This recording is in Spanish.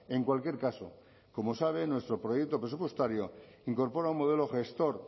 en cualquier caso como sabe nuestro proyecto presupuestario incorpora un modelo gestor